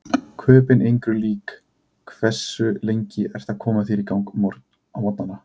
Köben engri lík Hversu lengi ertu að koma þér í gang á morgnanna?